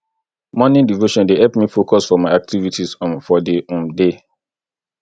morning devotion dey help me focus for my activities um for di um day